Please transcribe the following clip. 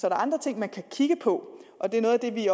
er andre ting man kan kigge på og det er noget af det vi